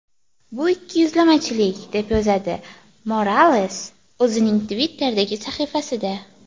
Bu ikkiyuzlamachilik”, deb yozadi Morales o‘zining Twitter’dagi sahifasida.